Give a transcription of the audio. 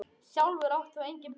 Sjálfur átt þú engin börn.